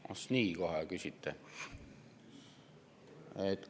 Ah nii kohe küsitegi?!